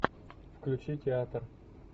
включи театр